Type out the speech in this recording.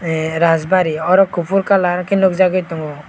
ahee rajbari oro kopor colour ke nogjagoi tango.